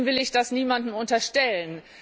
Trotzdem will ich das niemandem unterstellen.